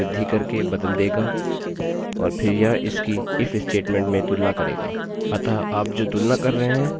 यदि आप इसे 11 में बदल देते हैं आप इसकी तुलना 11 से करेंगे फिर इसे billy में बदलेंगे और फिर यह लूपloopरुक जायेगा